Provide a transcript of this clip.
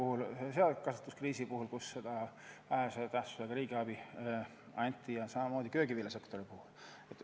Tuleb meelde seakasvatuse kriis, kui seda vähese tähtsusega riigiabi anti, ja samamoodi köögiviljasektor.